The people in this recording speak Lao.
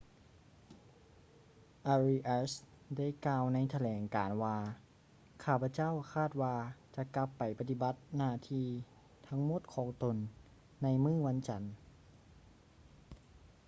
ອາຣີອາສ໌ arias ໄດ້ກ່າວໃນຖະແຫຼງການວ່າ ຂ້າພະເຈົ້າຄາດວ່າຈະກັບໄປປະຕິບັດໜ້າທີ່ທັງໝົດຂອງຕົນໃນມື້ວັນຈັນ